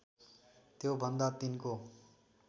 त्यो भन्दा तिनको